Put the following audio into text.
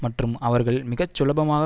மற்றும் அவர்களை மிக சுலபமாக